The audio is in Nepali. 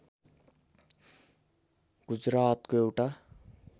गुजरातको एउटा